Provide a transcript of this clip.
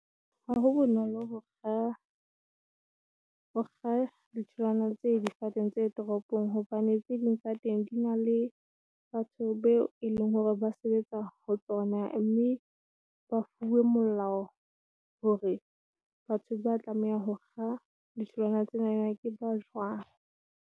Ha ho bonolo ho kga ditholwana tse difateng tse toropong hobane tse ding tsa teng di na le batho beo e leng hore ba sebetsa ho tsona, mme ba fuwe molao hore batho ba tlamehang ho kga ditholwana tsena ke ba jwang.